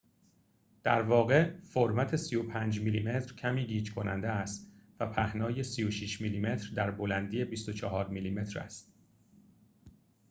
در واقع فرمت ۳۵ میلی متر کمی گیج‌کننده است و پهنای ۳۶ میلی‌متر در بلندی ۲۴ میلی‌متر است